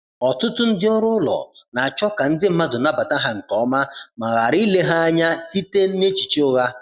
Ọtụtụ ndị ọrụ ụlọ na-achọ ka ndi mmadụ nabata ha nke ọma ma ghara ile ha anya site n’echiche ụgha.